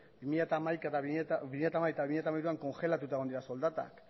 bi mila hamabi eta bi mila hamairuan kongelatuta egon dira soldatak